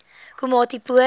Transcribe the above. komatipoort